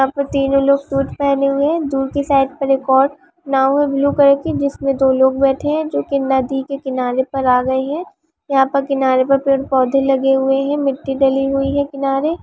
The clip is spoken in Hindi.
वहाँ पे तीनो लोग सूट पहने हुए हैं दूर की साइड पर एक और नाव है ब्लू कलर की जिसमें दो लोग बैठे है जो कि नदी के किनारे पर आ गए है यहाँ पर किनारे पर पेड़-पौधे लगे हुए हैं मिट्टी डली हुई है किनारे।